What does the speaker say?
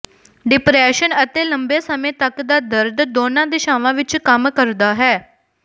depression ਅਤੇ ਲੰਬੇ ਸਮੇਂ ਤਕ ਦਾ ਦਰਦ ਦੋਨਾਂ ਦਿਸ਼ਾਵਾਂ ਵਿਚ ਕੰਮ ਕਰਦਾ ਹੈ